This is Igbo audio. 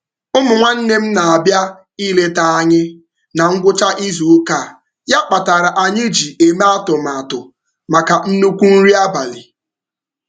Ụmụ nwanne m na-abịa ileta anyị na ngwụcha izuụka a ya kpatara anyị ji eme atụmatụ maka nnukwu nri abalị.